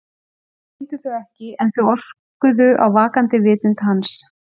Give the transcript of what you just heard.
Hann skildi þau ekki en þau orkuðu á vaknandi vitund hans.